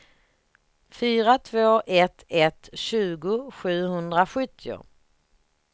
fyra två ett ett tjugo sjuhundrasjuttio